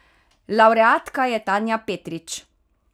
Lavreatka je Tanja Petrič.